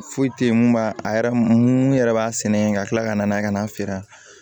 Foyi tɛ ye mun b'a a yɛrɛ mun yɛrɛ b'a sɛnɛ yen ka kila ka na n'a ye ka n'a feere